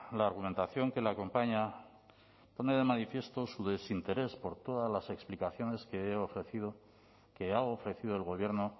la argumentación que la acompaña pone de manifiesto su desinterés por todas las explicaciones que he ofrecido que ha ofrecido el gobierno